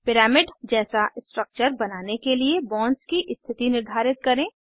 pyramid जैसा structure बनाने के लिए बॉन्ड्स की स्थिति निर्धारित करें